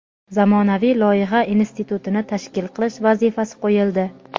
zamonaviy loyiha institutini tashkil qilish vazifasi qo‘yildi.